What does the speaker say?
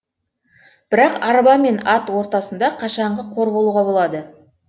бірақ арба мен ат ортасында қашанғы қор болуға болады